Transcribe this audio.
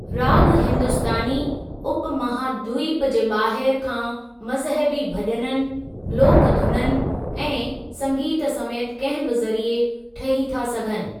राग हिंदुस्‍तानी उपमहाद्वीप जे ॿाहिर खां मज़हबी भॼननि, लोक धुननि ऐं संगीत समेति कंहिं बि जरिए ठही था सघनि।